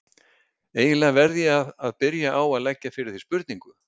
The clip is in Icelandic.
Eiginlega verð ég að byrja á að leggja fyrir þig spurningu.